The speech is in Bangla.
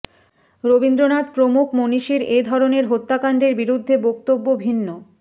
রবীন্দ্রনাথ প্রমুখ মনীষীর এ ধরনের হত্যাকাণ্ডের বিরুদ্ধে বক্তব্য ভিন্ন